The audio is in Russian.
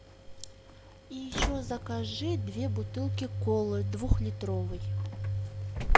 и еще закажи две бутылки колы двухлитровой